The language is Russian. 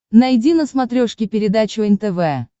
найди на смотрешке передачу нтв